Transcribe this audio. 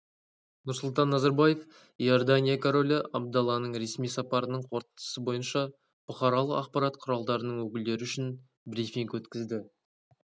нұрсұлтан назарбаев иордания королі абдалланың ресми сапарының қорытындысы бойынша бұқаралық ақпарат құралдарының өкілдері үшін брифинг өткізді